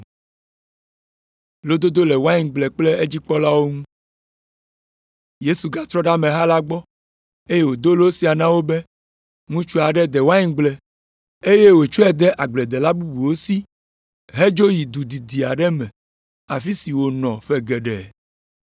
Yesu gatrɔ ɖe ameha la gbɔ, eye wòdo lo sia na wo be, “Ŋutsu aɖe de waingble, eye wòtsɔe de agbledela bubuwo si hedzo yi du didi aɖe me afi si wònɔ ƒe geɖe.